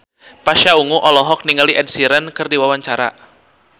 Pasha Ungu olohok ningali Ed Sheeran keur diwawancara